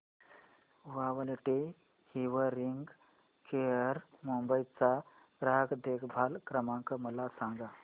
quality hearing care Mumbai चा ग्राहक देखभाल क्रमांक मला सांगा